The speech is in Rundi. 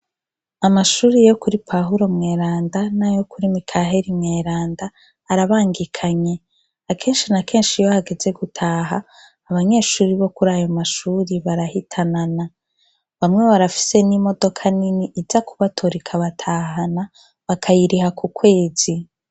Amashuri yo kuri Pawulo mweranda na yo kuri Mikaheri mweranda arabangikanye akenshi na kenshi yo hageze gutaha abanyeshuri bo kuri ayo mashuri barahitanana bamwe barafise n'imodoka nini iza kubatora ikabatahana bakayiriha ku kwezi.